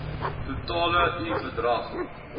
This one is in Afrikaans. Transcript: totale i bedrag